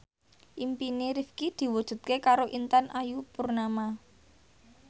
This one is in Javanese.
impine Rifqi diwujudke karo Intan Ayu Purnama